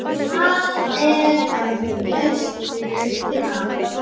Það er ekki laust við að